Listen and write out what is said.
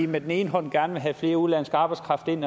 med den ene hånd gerne vil have mere udenlandsk arbejdskraft ind